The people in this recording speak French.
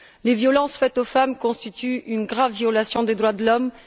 Les violences faites aux femmes constituent une grave violation des droits de l'homme.